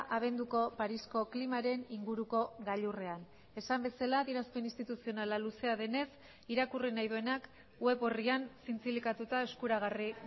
abenduko parisko klimaren inguruko gailurrean esan bezala adierazpen instituzionala luzea denez irakurri nahi duenak web orrian zintzilikatuta eskuragarri